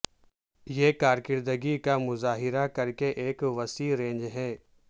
یہ کارکردگی کا مظاہرہ کر کے ایک وسیع رینج ہے